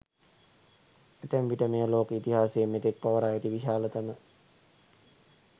ඇතැම් විට මෙය ලෝක ඉතිහාසයේ මෙතෙක් පවරා ඇති විශාලතම